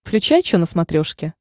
включай че на смотрешке